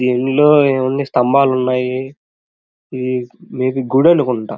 దీనిలో ఏముంది స్తంభాలు ఉన్నాయి. మే బి గుడి అనుకుంటా.